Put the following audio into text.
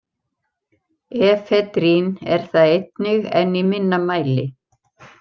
Efedrín er það einnig en í minna mæli.